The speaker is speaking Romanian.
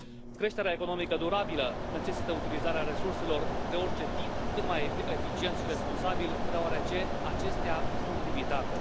Creșterea economică durabilă necesită utilizarea resurselor de orice tip, cât mai eficient și responsabil, deoarece acestea sunt limitate.